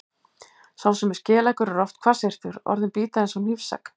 Sá sem er skeleggur er oft hvassyrtur, orðin bíta eins og hnífsegg.